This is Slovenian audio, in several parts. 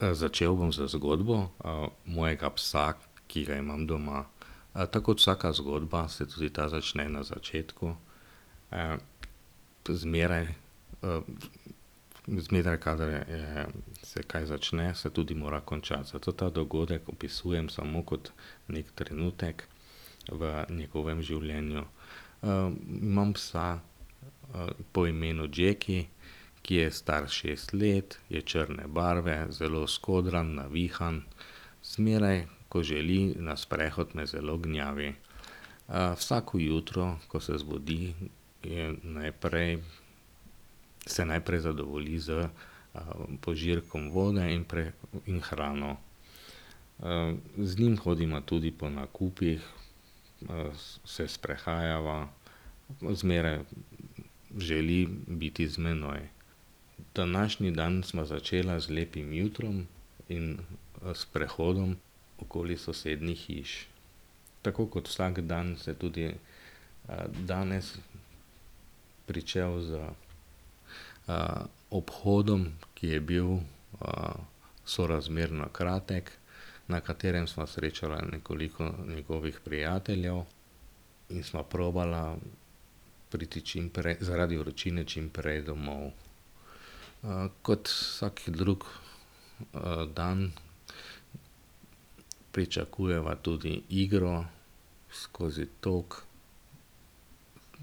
začel bom z zgodbo, mojega psa, ki ga imam doma. tako kot vsaka zgodba se tudi ta začne na začetku. zmeraj, zmeraj, kadar je, se kaj začne, se tudi mora končati, zato ta dogodek opisujem samo kot neki trenutek v njegovem življenju. imam psa, po imenu Jackie, ki je star šest let, je črne barve, zelo skodran, navihan. Zmeraj, ko želi na sprehod, me zelo gnjavi. vsako jutro, ko se zbudi, je najprej, se najprej zadovolji s, požirkom vode in in hrano. z njim hodimo tudi po nakupih, se sprehajava, zmeraj želi biti z menoj. Današnji dan sva začela z lepim jutrom in s sprehodom okoli sosednjih hiš. Tako kot vsak dan se tudi, danes pričel z, obhodom, ki je bil, sorazmerno kratek, na katerem sva srečala nekoliko njegovih prijateljev in sva probala priti zaradi vročine čimprej domov. kot vsak drug, dan pričakujeva tudi igro skozi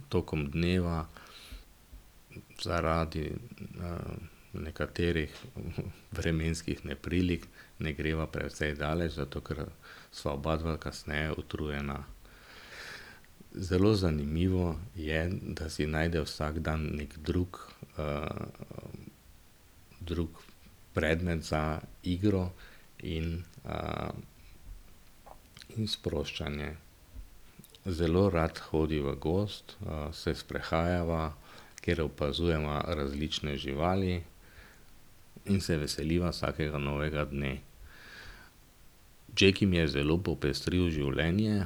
tokom dneva, zaradi, nekaterih vremenskih neprilik ne greva precej daleč, zato ker sva obadva kasneje utrujena. Zelo zanimivo je, da se najde vsak dan neki drug, drug predmet za igro in, in sproščanje. zelo rad hodi v gozd, se sprehajava, ker opazujeva različne živali in se veseliva vsakega novega dne. Jackie mi je zelo popestril življenje,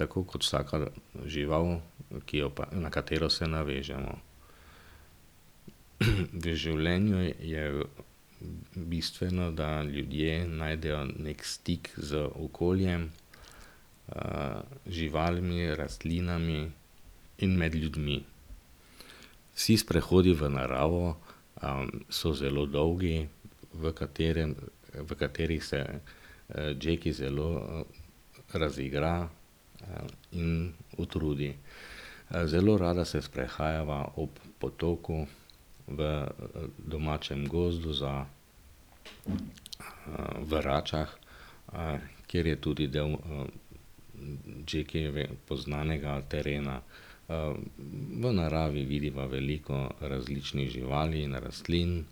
tako kot vsaka žival, ki jo pa, na katero se navežemo. V življenju je bistveno, da ljudje najdejo neki stik z okoljem, živalmi, rastlinami in med ljudmi. Vsi sprehodi v naravo, so zelo dolgi, v katerem, v katerih se, Jackie zelo, razigra, in utrudi. zelo rada se sprehajava ob potoku v, domačem gozdu za, v Račah, kjer je tudi del, Jackiejevega poznanega terena. v naravi vidiva veliko različnih živali in rastlin,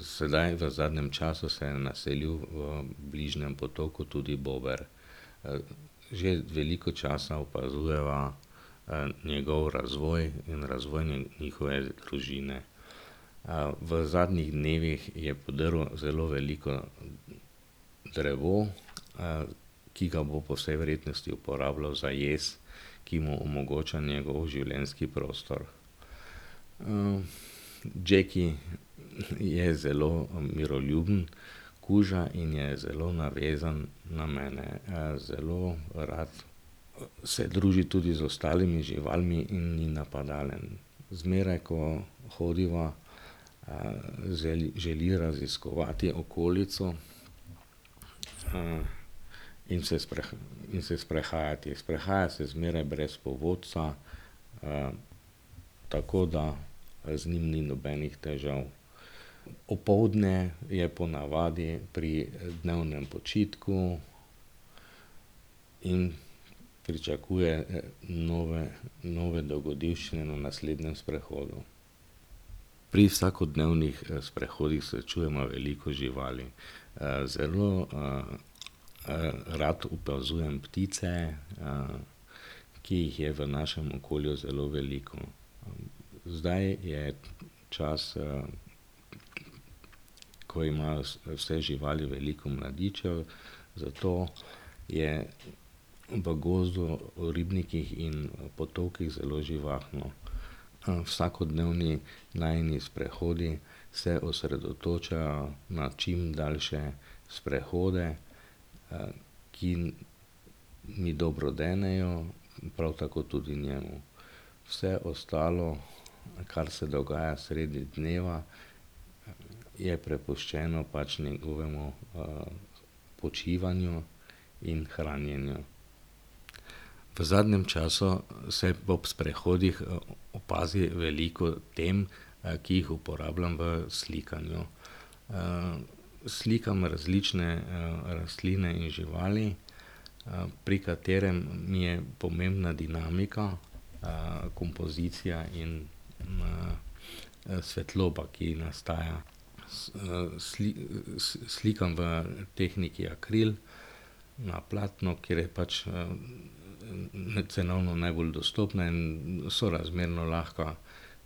sedaj v zadnjem času se je naselil v bližnjem potoku tudi bober, že veliko časa opazujeva, njegov razvoj in razvoj njihove družine. v zadnjih dnevih je podrl zelo veliko drevo, ki ga bo po vsej verjetnosti uporabljal za jez, ki mu omogoča njegov življenjski prostor. Jackie je zelo, miroljuben kuža in je zelo navezan na mene. zelo rad se druži tudi z ostalimi živalmi in ni napadalen. Zmeraj, ko hodiva, želi raziskovati okolico, in se in se sprehajati, sprehaja se zmeraj brez povodca, tako da, z njim ni nobenih težav. Opoldne je ponavadi pri dnevnem počitku in pričakuje nove, nove dogodivščine na naslednjem sprehodu. Pri vsakodnevnih sprehodih srečujeva veliko živali. zelo, rad opazujem ptice, ki jih je v našem okolju zelo veliko. Zdaj je čas, ko imajo vse živali veliko mladičev, zato je v gozdu v ribnikih in potokih zelo živahno. vsakodnevni najini sprehodi se osredotočajo na čim daljše sprehode, ki mi dobro denejo, prav tako tudi njemu. Vse ostalo, kar se dogaja sredi dneva, je prepuščeno pač njegovemu, počivanju in hranjenju. V zadnjem času se ob sprehodih opazi veliko tem, ki jih uporabljam v slikanju, Slikam različne, rastline in živali, pri katerem mi je pomembna dinamika, kompozicija in, svetloba, ki nastajajo. s slikam v tehniki akril, na platnu, ker je pač, cenovno najbolj dostopno in sorazmerno lahka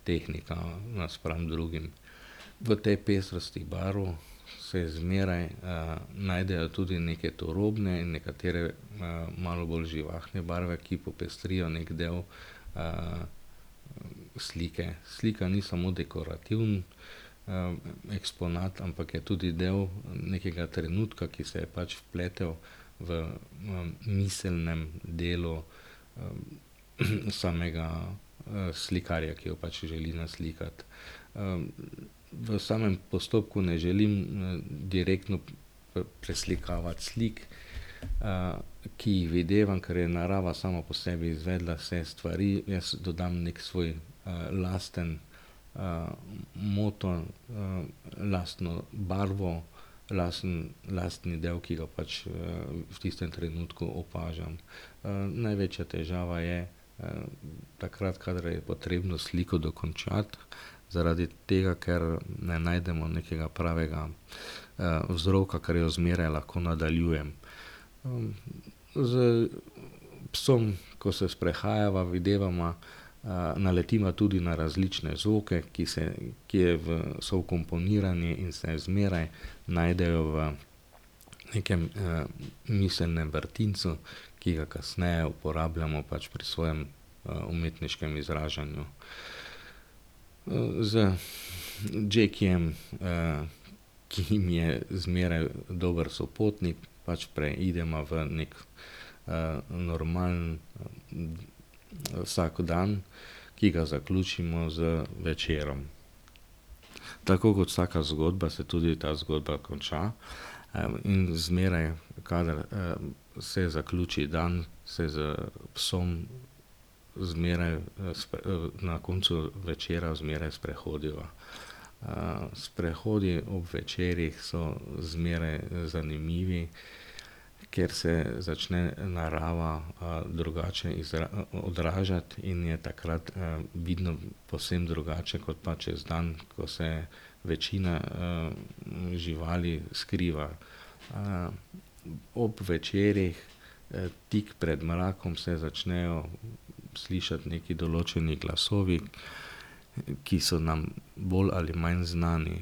tehnika naspram drugim. V tej pestrosti barv se zmeraj, najdejo tudi neke turobne nekatere malo bolj živahne barve, ki popestrijo neki del, slike, slika ni samo dekorativen, eksponat, ampak je tudi del nekega trenutka, ki se je pač vpletel v miselnem delu, samega, slikarja, ki jo pač želi naslikati. v samem postopku ne želim direktno preslikavati slik, ki jih videvam, ker je narava sama po sebi izvedla vse stvari, jaz dodam neki svoj, lasten, moto, lastno barvo, lasten, lastni del, ki ga pač, v tistem trenutku opažam. največja težava je, takrat, kadar je potrebno sliko dokončati, zaradi tega, ker ne najdemo nekega pravega, vzroka, ker jo zmeraj lahko nadaljujem. s psom, ko se sprehajava, videvava, naletiva tudi na različne zvoke, ki se, ki je v so vkomponirani, se zmeraj najdejo v nekem, miselnem vrtincu, ki ga kasneje uporabljamo pač pri svojem, umetniškem izražanju. z Jackiejem, ki mi je zmeraj dober sopotnik, pač preideva v neki, normalen, vsakdan, ki ga zaključimo z večerom. Tako kot vsaka zgodba se tudi ta zgodba konča. zmeraj, kadar, se zaključi dan, se s psom zmeraj, na koncu večera zmeraj sprehodiva. sprehodi ob večerih so zmeraj zanimivi, ker se začne narava drugače odražati in je takrat vidno povsem drugače kot pa čez dan, ko se večina živali skriva. ob večerih, tik pred mrakom se začnejo slišati neki določeni glasovi, ki so nam bolj ali manj znani.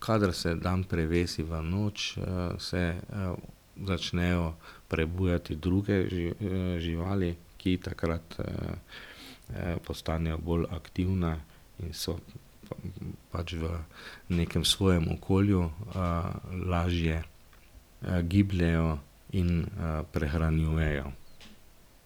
Kadar se dan prevesi v noč, se začnejo prebujati druge, živali, ki takrat, postanejo bolj aktivne in so pač v nekem svojem okolju, lažje, gibljejo in, prehranjujejo.